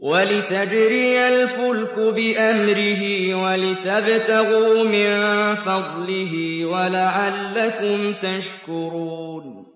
وَلِتَجْرِيَ الْفُلْكُ بِأَمْرِهِ وَلِتَبْتَغُوا مِن فَضْلِهِ وَلَعَلَّكُمْ تَشْكُرُونَ